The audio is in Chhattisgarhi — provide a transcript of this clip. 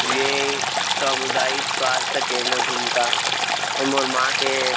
ए सामुदायिक स्वास्थ केंद्र घुमका ए मोर माँ के--